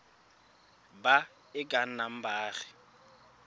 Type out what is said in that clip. ba e ka nnang baagi